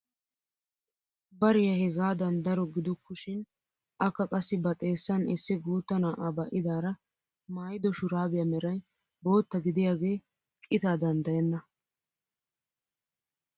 Bariyaa hegaadan daro giduku shin akka qassi ba xeessan issi guutta na'aa ba'idaara maayido shuraabiyaa meray bootta gidiyaagee qitaa danddayenna!